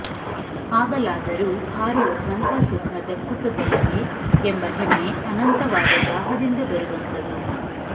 ಆಗಲಾದರೂ ಹಾರುವ ಸ್ವಂತ ಸುಖ ದಕ್ಕುತ್ತದಲ್ಲವೆ ಎಂಬ ಹೆಮ್ಮೆ ಅನಂತವಾದ ದಾಹದಿಂದ ಬರುವಂತದು